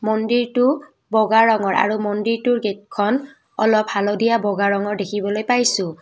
মন্দিৰটো বগা ৰঙৰ আৰু মন্দিৰটোৰ গেটখন অলপ হালধীয়া বগা ৰঙৰ দেখিবলৈ পাইছোঁ।